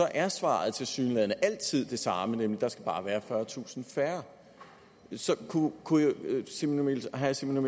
er svaret tilsyneladende altid det samme nemlig at der bare skal være fyrretusind færre så kunne herre simon